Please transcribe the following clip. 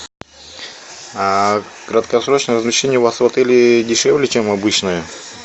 краткосрочное размещение у вас в отеле дешевле чем обычное